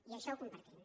i això ho compartim